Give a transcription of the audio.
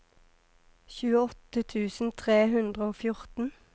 tjueåtte tusen tre hundre og fjorten